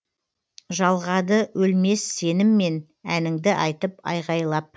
жалғады өлмес сеніммен әніңді айтып айғайлап